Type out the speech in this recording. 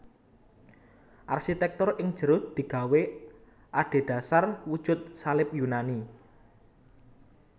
Arsitèktur ing jero digawé adhedhasar wujud salib Yunani